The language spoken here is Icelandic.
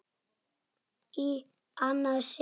Í annað sinn.